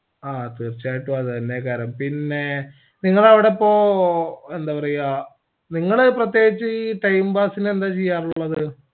അതെ തീർച്ചയായ്യിട്ടും അതെന്നെയായിക്കാരം പിന്നേ നിങ്ങളവിടെയിപ്പോ എന്താപറയ നിങ്ങൾ പ്രത്യേകിച്ച് ഈ time pass ന് എന്താചെയ്യാറുള്ളത്